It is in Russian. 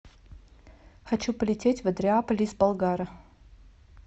хочу полететь в андреаполь из болгара